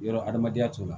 Yɔrɔ hadamadenya t'o la